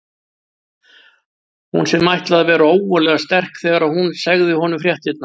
Hún sem ætlaði að vera ógurlega sterk þegar hún segði honum fréttirnar.